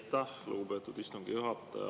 Aitäh, lugupeetud istungi juhataja!